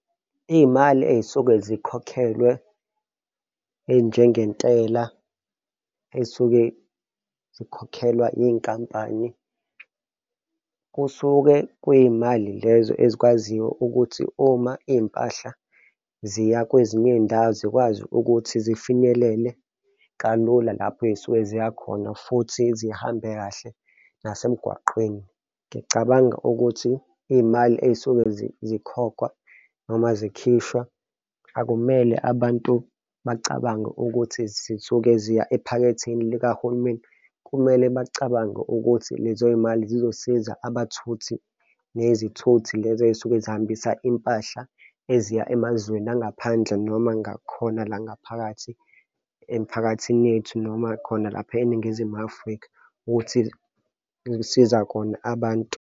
Iy'mali ey'suke zikhokhelwe ey'njengentela ey'suke zikhokhelwa iy'nkampani kusuke kwimali lezo ezikwaziyo ukuthi uma iy'mpahla ziya kwezinye iy'ndawo zikwazi ukuthi zifinyelele kalula lapho ey'suke ziya khona futhi zihambe kahle nasemgwaqeni. Ngiyacabanga ukuthi iy'mali ey'suke zikhokhwa noma zikhishwa akumele abantu bacabange ukuthi zisuke ziya ephaketheni likahulumeni kumele bacabange ukuthi lezoy'mali zizosiza abathuthi nezithuthi lezi ey'suke zihambasa impahla eziya emazweni angaphandle noma ngakhona la ngaphakathi emiphakathini yethu noma khona lapha eNingizimu Afrika ukuthi kusiza khona abantu.